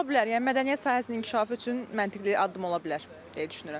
Ola bilər, yəni mədəniyyət sahəsinin inkişafı üçün məntiqin addım ola bilər deyə düşünürəm.